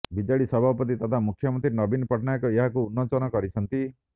BJD ସଭାପତି ତଥା ମୁଖ୍ୟମନ୍ତ୍ରୀ ନବୀନ ପଟ୍ଟନାୟକ ଏହାକୁ ଉନ୍ମୋଚନ କରିଛନ୍ତି